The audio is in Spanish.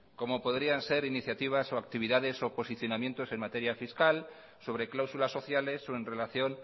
como podrían ser iniciativas o actividades o posicionamientos en materia fiscal sobre cláusulas sociales o en relación